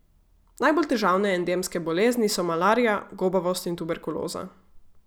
Najbolj težavne endemske bolezni so malarija, gobavost in tuberkoloza.